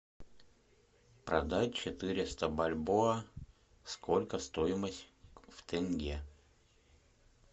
продать четыреста бальбоа сколько стоимость в тенге